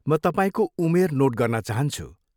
म तपाईँको उमेर नोट गर्न चाहन्छु।